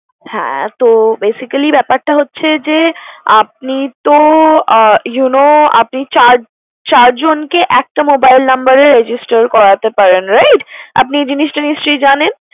হ্যাঁ তো basically ব্যাপারটা হচ্ছে যে, আপনি তো আহ you know আপনি চার চার জনকে একটা mobile number এ registration করাতে পারেন, right? আপনি জিনিসটা নিশ্চই জানেন।